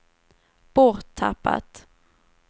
borttappat